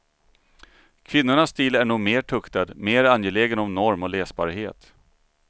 Kvinnornas stil är nog mer tuktad, mer angelägen om norm och läsbarhet.